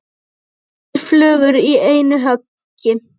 Tvær flugur í einu höggi.